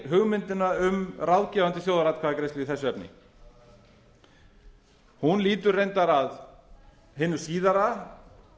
hugmyndina um ráðgefandi þjóðaratkvæðagreiðslu í þessu efni hún lýtur reyndar að hinu síðara